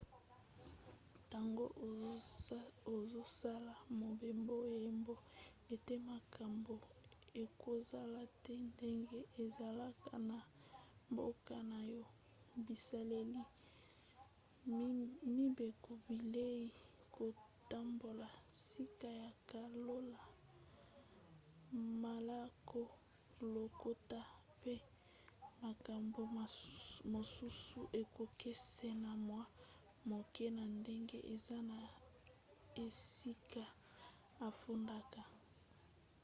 ntango ozosala mobembo yeba ete makambo ekozala te ndenge ezalaka na mboka na yo". bizaleli mibeko bilei kotambola sika ya kolala malako lokota pe makambo mosusu ekokesena mwa moke na ndenge eza na esika ofandaka